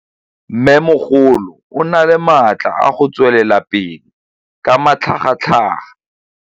Mmêmogolo o na le matla a go tswelela pele ka matlhagatlhaga.